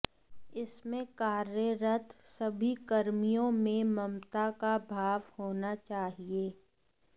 इसमें कार्यरत सभी कर्मियों में ममता का भाव होना चाहिए